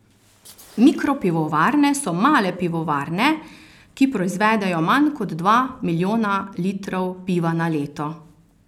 Mikropivovarne so male pivovarne, ki proizvedejo manj kot dva milijona litrov piva na leto.